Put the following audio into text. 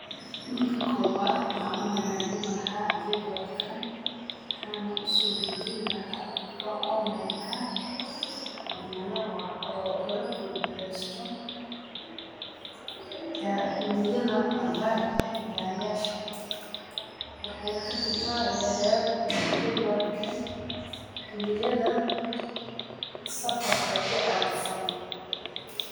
Marka kowaad, waxaan u hagaajin lahaa jedwaadkan. Waxaanu usoo dajin lahaa dhagka online ka ah inagara lagabboogereysto caad hilmiyada aad raacinahay gaariyaasha. Waxayna ka tixraacinaheed jedwaadkan hilmiyada safarka ku aadsan.